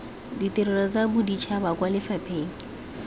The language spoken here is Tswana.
ditirelo tsa boditšhaba kwa lefapheng